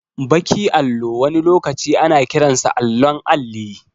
Baki allo wani lokaci ana kiransa allon alli